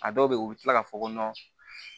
A dɔw bɛ yen u bɛ tila k'a fɔ ko